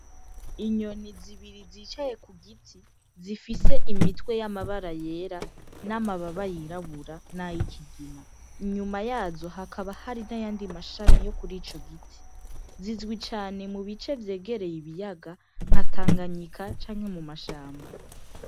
Inyoni zibiri zicaye ku giti zifise imitwe amabara yera n'amababa yirabura n'ayikigina. Inyuma yazo hakaba hari n'ayandi mashami yo kuri ico giti. Zizwi cane mu bice vyegereye ibiyaga nka Tanganyika canke mu mashamba.